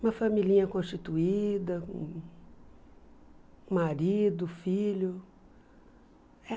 Uma familhinha constituída, marido, filho.